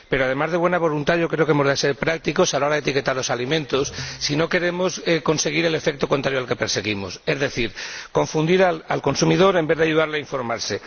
Pero, además de buena voluntad, yo creo que hemos de ser prácticos a la hora de etiquetar los alimentos, si no queremos conseguir el efecto contrario al que perseguimos, es decir, confundir al consumidor en vez de ayudarle a informarse.